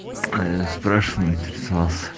а я спрашиваю интересовался